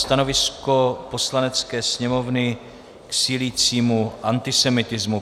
Stanovisko Poslanecké sněmovny k sílícímu antisemitismu